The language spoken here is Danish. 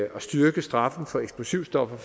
at styrke straffen for eksplosivstoffer